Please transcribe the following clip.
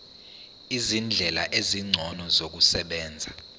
izindlela ezingcono zokusebenza